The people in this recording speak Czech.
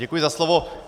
Děkuji za slovo.